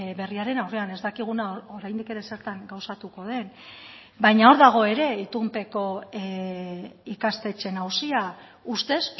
berriaren aurrean ez dakiguna oraindik ere zertan gauzatuko den baina hor dago ere itunpeko ikastetxeen auzia ustez